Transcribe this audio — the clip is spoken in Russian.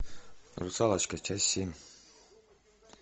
русалочка часть семь